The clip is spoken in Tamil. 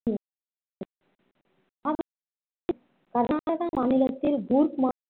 கர்நாடகா மாநிலத்தில் கூர்க் மா~